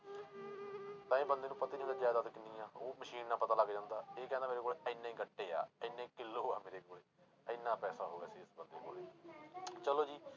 ਤਾਂ ਇਹ ਬੰਦੇ ਨੂੰ ਪਤਾ ਹੀ ਨੀ ਹੁੰਦਾ ਜ਼ਾਇਦਾਦ ਕਿੰਨੀ ਆਂ ਉਹ ਮਸ਼ੀਨ ਨਾਲ ਪਤਾ ਲੱਗ ਜਾਂਦਾ, ਇਹ ਕਹਿੰਦੇ ਮੇਰੇ ਕੋਲੇ ਇੰਨੇ ਗੱਟੇ ਆ, ਇੰਨੇ ਕਿੱਲੋ ਆ ਮੇਰੇ ਕੋਲੇ, ਇੰਨਾ ਪੈਸਾ ਹੋ ਗਿਆ ਸੀ ਇਸ ਬੰਦੇ ਕੋਲੇ ਚਲੋ ਜੀ